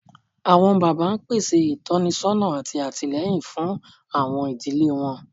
Awọn baba n pese itọnisọna ati atilẹyin fun awọn idile wọn